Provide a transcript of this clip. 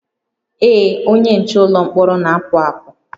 Ee, onye nche ụlọ mkpọrọ na-apụ apụ